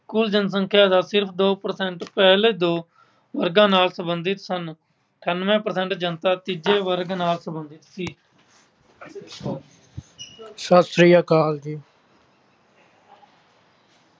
ਕੁੱਲ ਜਨਸੰਖਿਆ ਦਾ ਸਿਰਫ ਦੋ percent ਪਹਿਲੇ ਦੋ ਵਰਗਾਂ ਨਾਲ ਸੰਬੰਧਿਤ ਸਨ। ਅਠਾਨਵੇਂ percent ਜਨਤਾ ਤੀਜੇ ਵਰਗ ਨਾਲ ਸੰਬੰਧਿਤ ਸੀ। ਸਤਿ ਸ਼੍ਰੀ ਆਕਾਲ ਜੀ।